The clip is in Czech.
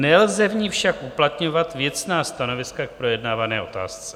Nelze v ní však uplatňovat věcná stanoviska k projednávané otázce.